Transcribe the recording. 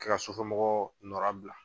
kɛ ka sufɛ mɔgɔ nɔra bila.